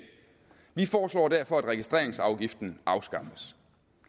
vi foreslår derfor at registreringsafgiften afskaffes